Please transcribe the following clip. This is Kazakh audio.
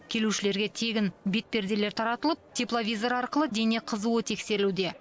келушілерге тегін бетперделер таратылып тепловизор арқылы дене қызуы тексерілуде